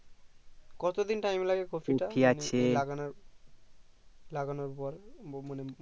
কতদিন time কপিটা লাগানোর পর লাগানোর পর মানে